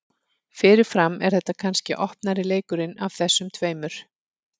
Fyrirfram er þetta kannski opnari leikurinn af þessum tveimur.